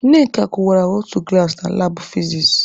Nneka kụwara otu glaasị na labụ fizis.